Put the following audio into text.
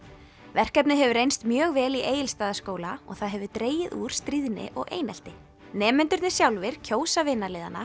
verkefnið hefur reynst mjög vel í Egilsstaðaskóla og það hefur dregið úr stríðni og einelti nemendurnir sjálfir kjósa